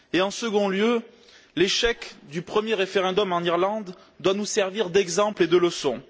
En second lieu, l'échec du premier référendum en Irlande doit nous servir d'exemple et de leçon.